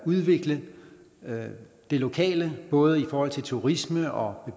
udvikle det lokale både i forhold til turisme og